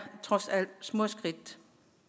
trods alt små skridt